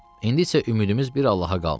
İndi isə ümidimiz bir Allaha qalmışdı.